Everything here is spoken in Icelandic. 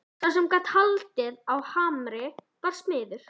Sá sem gat haldið á hamri var smiður.